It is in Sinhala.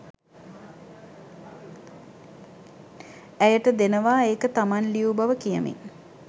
ඇයට දෙනවා ඒක තමන් ලියූ බව කියමින්